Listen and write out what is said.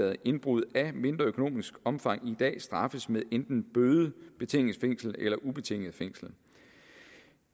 at indbrud af mindre økonomisk omfang i dag straffes med enten bøde betinget fængsel eller ubetinget fængsel